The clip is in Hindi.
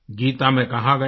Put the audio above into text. गीता में कहा गया है